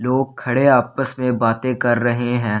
लोग खड़े आपस में बातें कर रहें हैं।